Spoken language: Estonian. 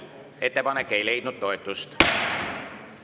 Ettepanek ei leidnud toetust.